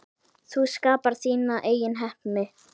Þú skapar þína eigin heppni.